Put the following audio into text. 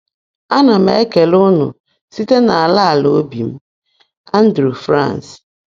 Ana m ekele ụnụ site n’ala ala obi m!” — Andrée, France.